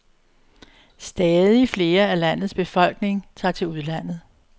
Stadig flere af landets befolkning tager til udlandet.